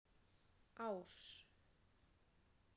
Ás